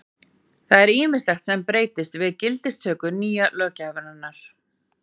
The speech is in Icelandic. það er ýmislegt sem breytist við gildistöku nýju löggjafarinnar